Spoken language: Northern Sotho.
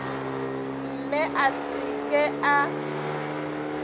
mme a se ke a